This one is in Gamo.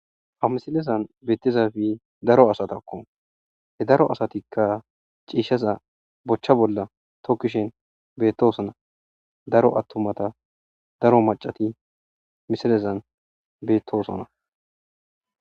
amisilezan beetizafi daro asatakko he daro asatikka ciishaza bochcha bolla tokkishen beettosona daro attumata daro macati misilezan beettosona